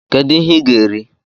kedu ihe i gá eri?